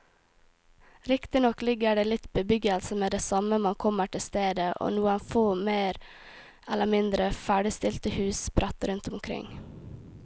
Riktignok ligger det litt bebyggelse med det samme man kommer til stedet og noen få mer eller mindre ferdigstilte hus sprett rundt omkring.